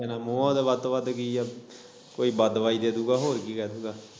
ਮੇਰਾ ਮੋਹ ਹੀ ਤੇ ਵੱਧ ਤੋਂ ਵੱਧ ਕੀ ਐ ਕੋਈ ਬਦਦੁੱਆ ਹੀ ਦੇ ਦੂ ਗਾ ਹੋਰ ਕੀ ਕਹਿ ਸਕਦਾ।